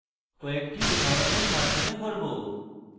কয়েকটি উদাহরণের মাধ্যমে করব